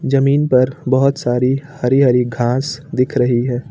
जमीन पर बहोत सारी हरी हरी घास दिख रही है।